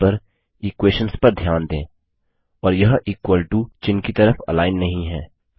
screen पर equations पर ध्यान दें और यह इक्वल टो चिह्न की तरफ अलाइन नहीं है